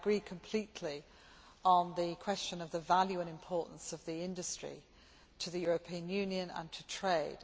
However, I agree completely on the question of the value and importance of the industry to the European Union and to trade.